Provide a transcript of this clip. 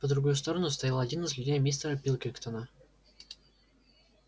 по другую сторону стоял один из людей мистера пилкингтона